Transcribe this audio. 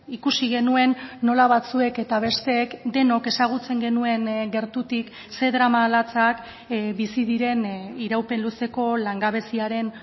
ikusi genuen nola batzuek eta besteek denok ezagutzen genuen gertutik ze drama latzak bizi diren iraupen luzeko langabeziaren